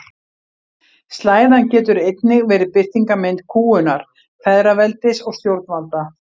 Slæðan getur einnig verið birtingarmynd kúgunar feðraveldis og stjórnvalda.